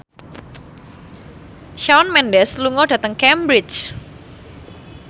Shawn Mendes lunga dhateng Cambridge